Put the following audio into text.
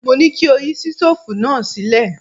Mo ní kí o yí sítóòfù náà sílẹ̀!